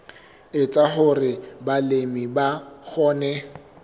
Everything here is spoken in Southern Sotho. etsa hore balemi ba kgone